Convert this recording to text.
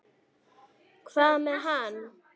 Hvað með hann?